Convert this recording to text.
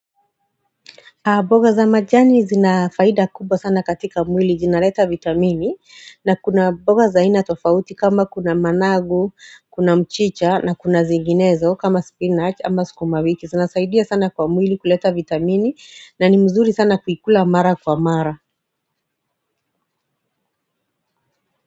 Mboga za majani zina faida kubwa sana katika mwili zinaleta vitamini na kuna mboga za aina tofauti kama kuna managu, kuna mchicha na kuna zinginezo kama spinach ama sukumawiki zinasaidia sana kwa mwili kuleta vitamini na ni mzuri sana kuikula mara kwa mara.